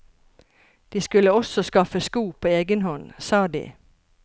De skulle også skaffe sko på egen hånd, sa de.